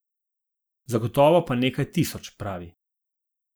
Zagotovo pa nekaj tisoč, pravi.